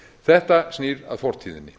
þetta snýr að fortíðinni